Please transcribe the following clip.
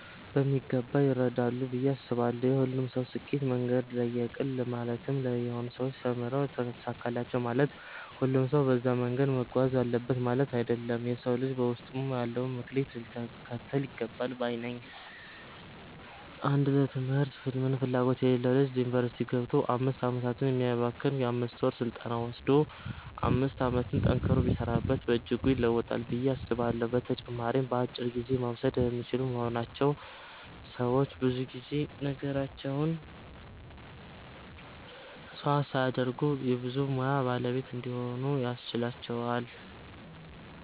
በሚገባ ይረዳሉ ብዬ አስባለው። የሁሉም ሰው የስኬት መንገድ ለየቅል ነው ማለትም የሆኑ ሰዎች ተምረው ተሳካላቸው ማለት ሁሉም ሰው በዛ መንገድ መጓዝ አለበት ማለት አይደለም። የ ሰው ልጅ ውስጡ ያለውን መክሊት ሊከተል ይገባል ባይ ነኝ። አንድ ለ ትምህርት ምንም ፍላጎት የሌለው ልጅ ዩኒቨርስቲ ገብቶ 5 አመታትን ከሚያባክን የ 5ወር ስልጠና ወሰዶ 5 አመቱን ጠንክሮ ቢሰራበት በእጅጉ ይለወጣል ብዬ አስባለሁ። በተጨማሪም በአጭር ጊዜ መወሰድ የሚችሉ በመሆናቸው ሰዎች ብዙ ነገራቸውን መስዋዕት ሳያደርጉ የ ብዙ ሙያ ባለቤት እንዲሆኑ ያስችላቸዋል።